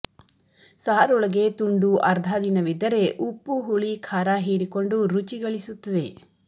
ಸಾರೊಳಗೆ ತುಂಡು ಅರ್ಧ ದಿನವಿದ್ದರೆ ಉಪ್ಪು ಹುಳಿ ಖಾರ ಹೀರಿಕೊಂಡು ರುಚಿ ಗಳಿಸುತ್ತದೆ